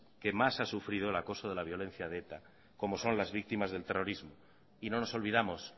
que más ha sufrido el acoso de la violencia de eta como son las víctimas del terrorismo y no nos olvidamos